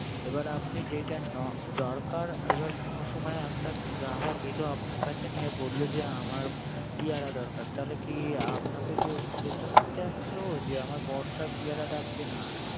এবার আপনারে যেটা না দরকার, কোন সময় আপনার গ্রাহক এল আপনার কাছে নিয়ে বলল যে আমার পেয়ারা দরকার। তাইলে কি আপাকে কি জিঙ্গাসা করতে আসছে ও আমার বর্ষার পেয়ারা লাগবে না।